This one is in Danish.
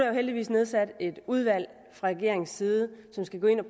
jo heldigvis nedsat et udvalg fra regeringens side som skal gå ind og